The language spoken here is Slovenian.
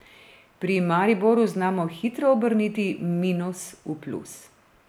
Pri Mariboru znamo hitro obrniti minus v plus.